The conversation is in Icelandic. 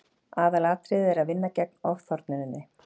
aðalatriðið er að vinna gegn ofþornuninni